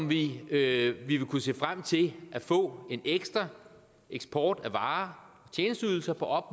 vi vil kunne se frem til at få en ekstra eksport af varer og